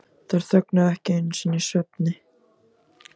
Þær þögnuðu ekki einu sinni í svefni.